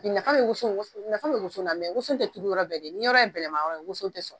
Ɲafa be woson woson nafa be woson la mɛ woson te turu yɔrɔ bɛɛ ni yɔrɔ ye bɛlɛma yɔrɔ ye woson te sɔrɔ